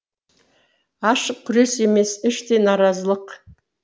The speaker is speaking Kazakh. ашық күрес емес іштей наразылық